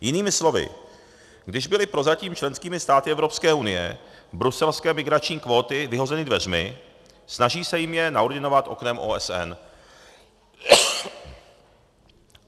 Jinými slovy, když byly prozatím členskými státy EU bruselské migrační kvóty vyhozeny dveřmi, snaží se jim je naordinovat oknem OSN.